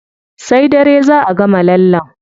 Sai dare zá a gama lallen.